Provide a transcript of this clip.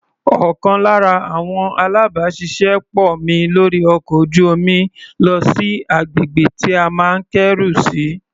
Ọ̀kan lára àwọn alábàáṣiṣé pọ̀ mi lórí ọkọ̀ ojú-omi lọ sí agbègbè tí a máa kẹ́rù sí.